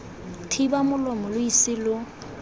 thiba molomo lo ise lo